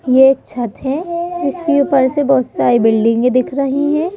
ये एक छत है इसके ऊपर से बहुत सारी बिल्डिंगें दिख रही हैं।